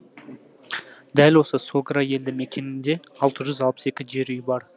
дәл осы согра елді мекенінде алты жүз алпыс екі жер үй бар